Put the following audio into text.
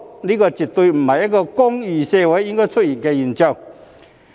這絕不是一個公義社會應該出現的現象。